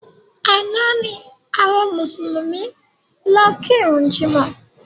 Àná ni àwọn Mùsùlùmí lọ ki ìrun jímọ̀